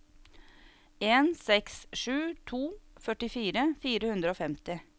en seks sju to førtifire fire hundre og femti